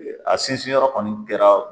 A sinsin yɔrɔ kɔni kɛra